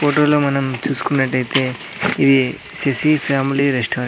Photo లో మనం చూసుకున్నాట్లయితే ఇది సీ_సీ ఫ్యామిలీ రెస్టారెంట్ .